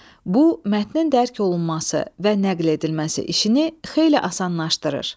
Bu, mətnin dərk olunması və nəql edilməsi işini xeyli asanlaşdırır.